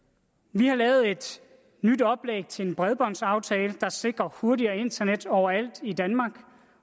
vi har lavet et nyt oplæg til en bredbåndsaftale der sikrer hurtigere internet overalt i danmark